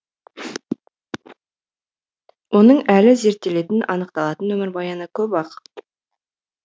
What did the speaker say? оның әлі зерттелетін анықталатын өмірбаяны көп ақ